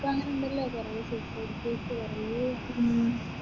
ഇപ്പോ അങ്ങനെ ഉണ്ടല്ലോ കുറെ securities കുറെയായിട്ട്